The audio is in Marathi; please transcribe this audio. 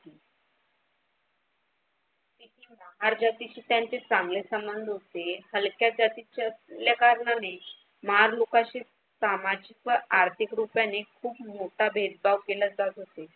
महार जातीशी त्यांचे चांगले संबंध होते. हलक्या जातीचे असल्या कारणाने महार लोकांशी सामाजिक व आर्थिक रूपाने खूप मोठा भेदभाव केला जात असे.